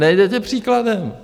Nejdete příkladem!